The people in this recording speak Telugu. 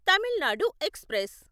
తమిళ్ నాడు ఎక్స్ప్రెస్